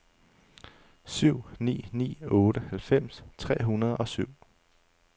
syv ni ni otte halvfems tre hundrede og syv